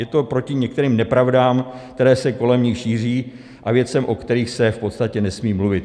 Je to proti některým nepravdám, které se kolem nich šíří a věcem, o kterých se v podstatě nesmí mluvit.